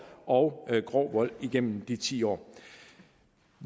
og grov vold igennem de ti år